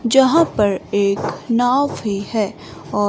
जहां पर एक नाव भी है और--